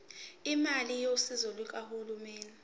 imali yosizo lukahulumeni